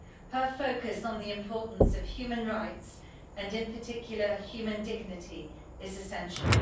Her focus on the importance of human rights and, in particular, human dignity is essential.